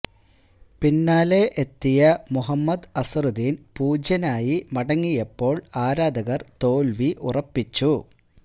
പിന്നാലെ എത്തിയ മുഹമ്മദ് അസ്ഹറുദ്ദീന് പൂജ്യനായി മടങ്ങിയപ്പോള് ആരാധകര് തോല്വി ഉറപ്പിച്ചു